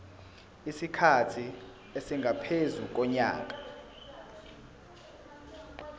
isikhathi esingaphezu konyaka